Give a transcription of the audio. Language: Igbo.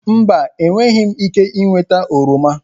Mba, ị nweghị ike ịnweta oroma.